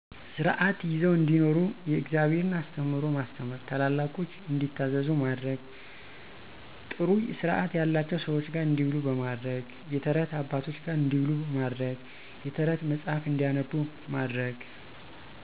ስርዓት ይዘው እንዲኖሩ የእግዘብሔርን አስተምህሮ ማስተማር፣ ታላላቆች እንዲታዘዙ ማድረግ፣ ጥሩ ስርዐት ያለቸው ሰዎች ጋር እንዲውሉ በማድረግ። የተረት አባቶች ጋር እንዲውሉ ማድረግ፣ የተረት መጽሐፍ እንዲያነቡ ማድረግ